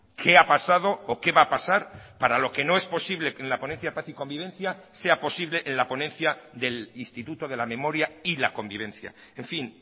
qué ha pasado o qué va a pasar para lo que no es posible que en la ponencia paz y convivencia sea posible en la ponencia del instituto de la memoria y la convivencia en fin